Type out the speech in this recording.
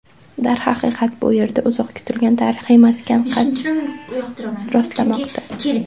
Darhaqiqat, bu yerda uzoq kutilgan tarixiy maskan qad rostlamoqda.